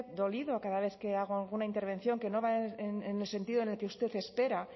dolido a cada vez que hago alguna intervención que no va en el sentido en el que usted espera